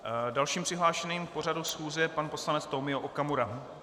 Dalším přihlášeným k pořadu schůze je pan poslanec Tomio Okamura.